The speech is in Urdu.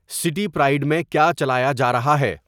سٹی پرائڈ میں کیا چلایا جا رہا ہے